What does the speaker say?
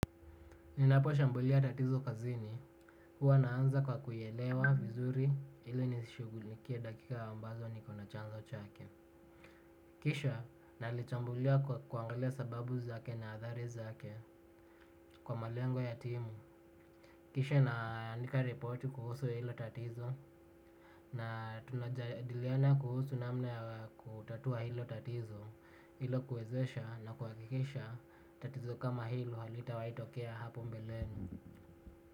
Ninaposhambulia tatizo kazini, huwa naanza kwa kuielewa vizuri ili nishughilikie dakika ambazo niko na chanzo chake. Kisha nalichambulia kwa kuangalia sababu zake na athari zake kwa malengo ya timu. Kisha naandika repoti kuhusu hilo tatizo na tunajadiliana kuhusu namna ya kutatua hilo tatizo hilo huezesha na kuhakikisha tatizo kama hilo halitawahi tokea hapo mbeleni.